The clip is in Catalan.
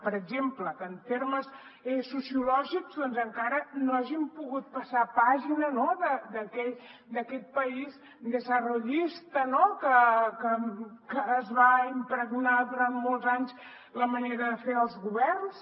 per exemple que en termes sociològics doncs encara no hagin pogut passar pàgina d’aquest país desenvolupista que es va impregnar durant molts anys a la manera de fer dels governs